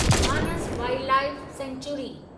Manas wildlife sanctuary